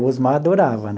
O Osmar adorava.